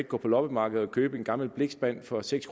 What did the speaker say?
gå på loppemarkedet og købe en gammel blikspand for seks